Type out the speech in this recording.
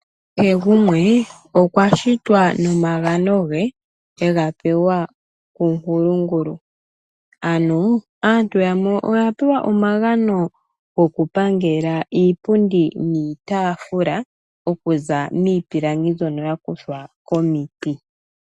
Kehe gumwe okwa shitwa nomagano ge egapewa ku Ngulungulu, Ano aantu yamwe oyapewa omagano goku pangela iipundi niitaafula okuza miipilangi mbyono ya kuthwa komiti.